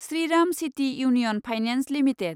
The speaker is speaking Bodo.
Shriram city union finance limited